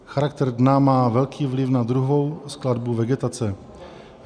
Charakter dna má velký vliv na druhovou skladbu vegetace.